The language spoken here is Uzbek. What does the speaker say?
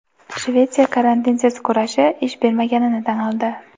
Shvetsiya "karantinsiz kurashi" ish bermaganini tan oldi.